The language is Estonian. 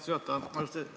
Aitäh, austatud juhataja!